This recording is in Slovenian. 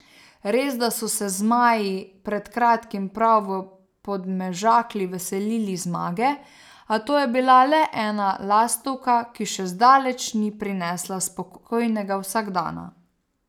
Resda so se zmaji pred kratkim prav v Podmežakli veselili zmage, a to je bila le ena lastovka, ki še zdaleč ni prinesla spokojnega vsakdana.